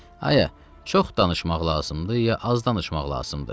aya, çox danışmaq lazımdır, ya az danışmaq lazımdır.